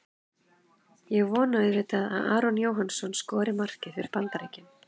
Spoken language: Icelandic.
Ég vona auðvitað að Aron Jóhannsson skori markið fyrir Bandaríkin.